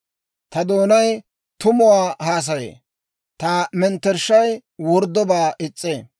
Ta doonay tumuwaa haasayee; ta metershshay worddobaa is's'ee.